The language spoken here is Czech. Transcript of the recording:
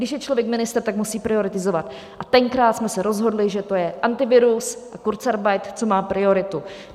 Když je člověk ministr, tak musí prioritizovat, a tenkrát jsme se rozhodli, že to je Antivirus a kurzarbeit, co má prioritu.